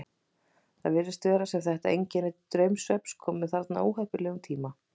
Það virðist sem þetta einkenni draumsvefns komi þarna á óheppilegum tíma.